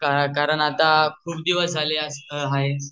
हा कारन आता खुप दिवस झाले आसता आहे.